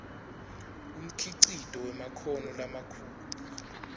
umkhicito wemakhono lamakhulu